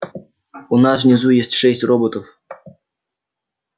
у нас внизу есть шесть роботов